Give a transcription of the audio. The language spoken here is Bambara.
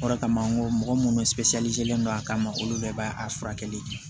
O de kama n ko mɔgɔ minnu len don a kama olu bɛɛ b'a a furakɛli